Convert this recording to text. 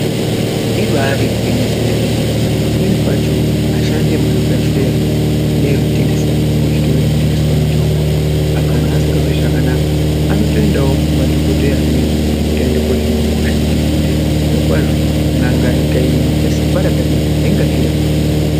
Ibari gwinyiso yemene pamweni pacho ashandi emuzvibhedhleya neanotengesa muzvitoro zvinotengesa mitomba, kana asingazwi zvakanaka anotoendavo kumadhogodheya amweni kuti aende kunohinwa hosha. Ngekuti zviro kwazvo na'nga ikaita simba rakadini hainga zvirapi yega.